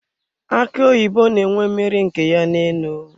Aki oyibo na enwe mmiri nke ya na enu.